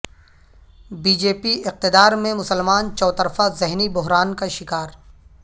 be J P اقتدار میں مسلمان چوطرفہ ذہنی بحران کا شکار